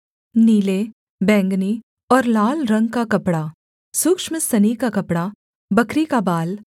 नीले बैंगनी और लाल रंग का कपड़ा सूक्ष्म सनी का कपड़ा बकरी का बाल